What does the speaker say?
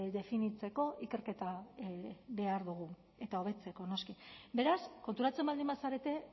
definitzeko ikerketa behar dugu eta hobetzeko noski beraz konturatzen baldin bazarete